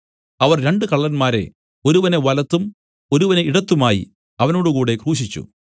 അവർ രണ്ടു കള്ളന്മാരെ ഒരുവനെ വലത്തും ഒരുവനെ ഇടത്തുമായി അവനോടുകൂടെ ക്രൂശിച്ചു